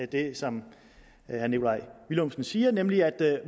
det som herre nikolaj villumsen siger nemlig at